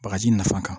Bagaji nafa ka